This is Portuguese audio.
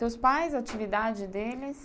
Seus pais, a atividade deles...